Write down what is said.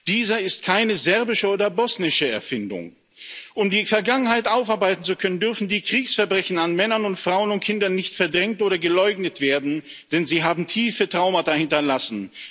Dieser ist keine serbische oder bosnische Erfindung. Um die Vergangenheit aufarbeiten zu können, dürfen die Kriegsverbrechen an Männern, Frauen und Kindern nicht verdrängt oder geleugnet werden, denn sie haben tiefe Traumata hinterlassen.